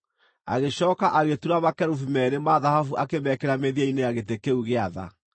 Agĩcooka agĩtura makerubi meerĩ ma thahabu akĩmekĩra mĩthia-inĩ ya gĩtĩ kĩu gĩa tha.